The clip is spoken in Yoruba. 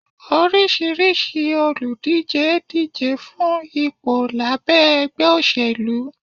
orisirisi oludije díjé fun ìpo labé ẹgbẹ́ osélú